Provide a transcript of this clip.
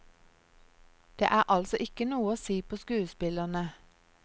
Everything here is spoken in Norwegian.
Det er altså ikke noe å si på skuespillerne.